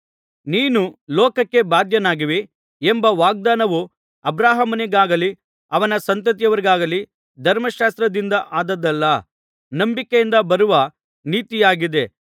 ನೀನು ಲೋಕಕ್ಕೆ ಬಾಧ್ಯನಾಗುವಿ ಎಂಬ ವಾಗ್ದಾನವು ಅಬ್ರಹಾಮನಿಗಾಗಲಿ ಅವನ ಸಂತತಿಯವರಿಗಾಗಲಿ ಧರ್ಮಶಾಸ್ತ್ರದಿಂದ ಆದದ್ದಲ್ಲ ನಂಬಿಕೆಯಿಂದ ಬರುವ ನೀತಿಯಾಗಿದೆ